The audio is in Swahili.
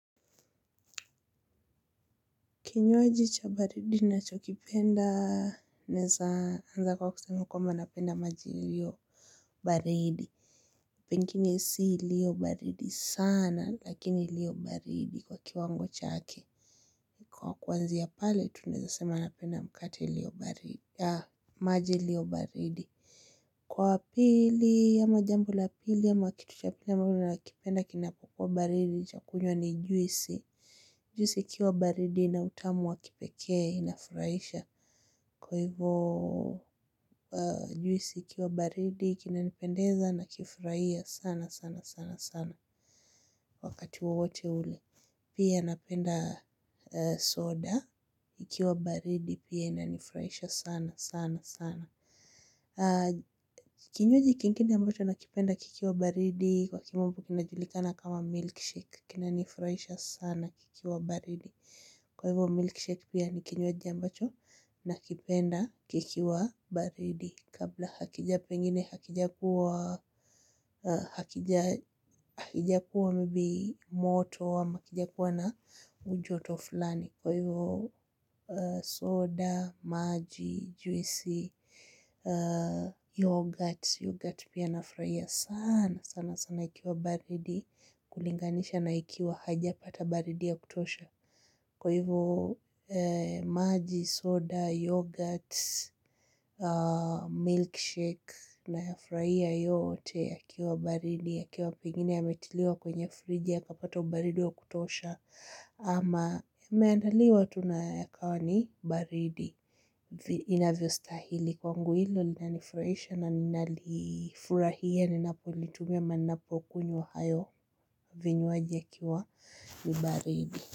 Kinywaji cha baridi nacho kipenda, naweza anza kwa kusema kwamba napenda maji ilio baridi. Pengine si ilio baridi sana, lakini ilio baridi kwa kiwango chake. Kwa kwanzia pale, tunaweza sema napenda mkate ilio baridi. Maji ilio baridi. Kwa pili, ama jambo la pili, ama kitu cha pili, ambacho nakipenda kinapokuwa baridi, cha kunywa ni juisi. Juisi ikiwa baridi ina utamu wa kipekee inafurahisha. Kwa hivyo juisi ikiwa baridi kinanipendeza na kifurahiya sana sana sana sana wakati wowote ule. Pia napenda soda ikiwa baridi pia inanifurahisha sana sana sana. Kinywaji kingine ambocho nakipenda kikiwa baridi kwa kimombo kinajulikana kama milkshake. Kina nifurahisha sana kikiwa baridi. Kwa hivyo milkshake pia nikinywaji ambacho na kipenda kikiwa baridi. Kabla hakija pengine hakija kuwa hakija kuwa mbi moto ama hakija kuwa na ujoto fulani. Kwa hivyo soda, maji, juisi, yogurt, yogurt pia na furahia sana sana sana ikiwa baridi kulinganisha na ikiwa haijapata baridi ya kutosha. Kwa hivyo maji, soda, yoghurt, milkshake na ya furahia yote ya kiwa baridi ya kiwa pengine ya metiliwa kwenye fridge ya kapata ubaridi ya kutosha ama ameandaliwa tu na yakawa ni baridi inavyo stahili kwangu hilo linanifurahisha na ninalifurahia ni napolitumia ama ninapokunywa hayo vinyuaji ya kiwa ni baridi.